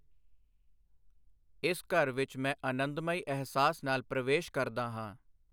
ਇਸ ਘਰ ਵਿੱਚ ਮੈਂ ਅਨੰਦਮਈ ਅਹਿਸਾਸ ਨਾਲ ਪ੍ਰਵੇਸ਼ ਕਰਦਾ ਹਾਂ।